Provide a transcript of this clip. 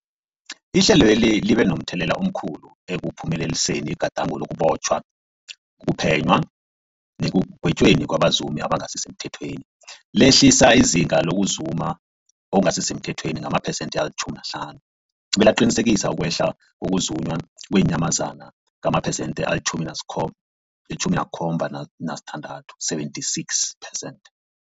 Ihlelweli libe momthelela omkhulu ekuphumeleliseni igadango lokubotjhwa, ukuphenywa nekugwetjweni kwabazumi abangasisemthethweni, lehlisa izinga lokuzuma okungasi semthethweni ngamaphesenthe-50, belaqinisekisa ukwehla kokuzunywa kweenyamazana ngamaphesenthe-76, 76 percent.